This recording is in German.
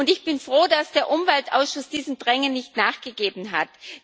Ich bin froh, dass der Umweltausschuss diesem Drängen nicht nachgegeben hat.